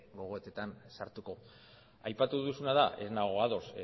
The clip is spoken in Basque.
gogoetetan sartuko aipatu duzuna da ez nago ados